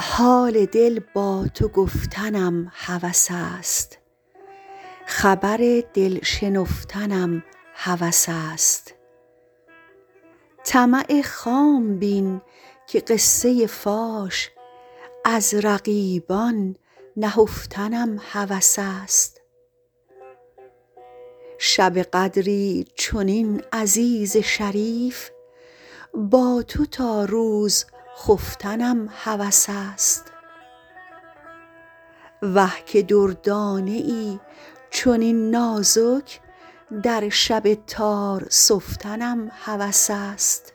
حال دل با تو گفتنم هوس است خبر دل شنفتنم هوس است طمع خام بین که قصه فاش از رقیبان نهفتنم هوس است شب قدری چنین عزیز شریف با تو تا روز خفتنم هوس است وه که دردانه ای چنین نازک در شب تار سفتنم هوس است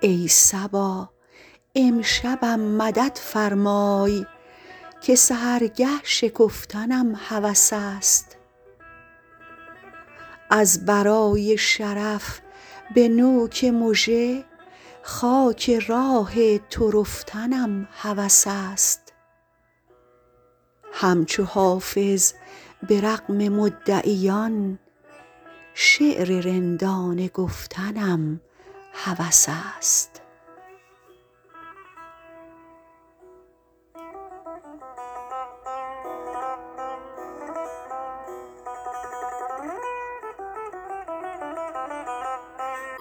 ای صبا امشبم مدد فرمای که سحرگه شکفتنم هوس است از برای شرف به نوک مژه خاک راه تو رفتنم هوس است همچو حافظ به رغم مدعیان شعر رندانه گفتنم هوس است